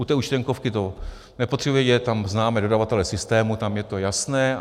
U té účtenkovky to nepotřebuji vědět, tam známe dodavatele systému, tam je to jasné.